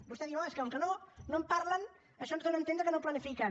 vostè diu oh és com que no en parlen això ens dóna a entendre que no planifiquen